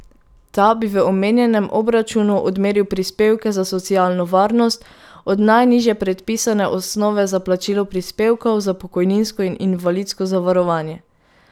Ta bi v omenjenem obračunu odmeril prispevke za socialno varnost od najnižje predpisane osnove za plačilo prispevkov za pokojninsko in invalidsko zavarovanje.